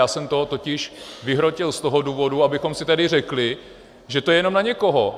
Já jsem to totiž vyhrotil z toho důvodu, abychom si tady řekli, že to je jenom na někoho.